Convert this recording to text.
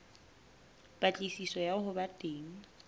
patlisiso ya ho ba teng